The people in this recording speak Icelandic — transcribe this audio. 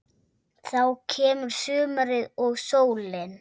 Þá kemur sumarið og sólin.